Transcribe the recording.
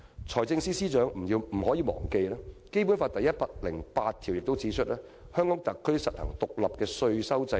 財政司司長不要忘記，《基本法》第一百零八條亦訂明："香港特別行政區實行獨立的稅收制度。